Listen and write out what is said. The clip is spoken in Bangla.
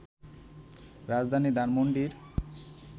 রাজধানী ধানমণ্ডির